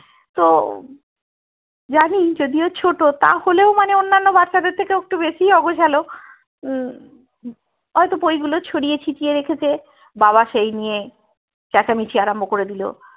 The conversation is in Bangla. তো জানি যদিও ছোট তাহলেই মানে অনন্যা বাচ্চাদের থেকে ও একটু বেশিই অগোছালো উম হতো বইগুলো ছড়িয়ে ছিটিয়ে রেখেছে বাবা সেই নিয়ে চেঁচামিচি শুরু করে দিলো